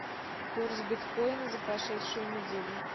курс биткоина за прошедшую неделю